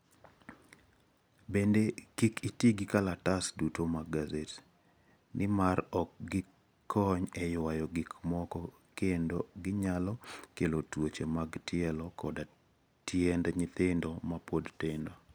Bende, kik iti gi kalatese duto mag gaset, nimar ok gikony e ywayo gik moko kendo ginyalo kelo tuoche mag tielo koda tiend nyithindo mapod tindo.